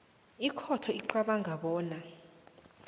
ikhotho icabanga bona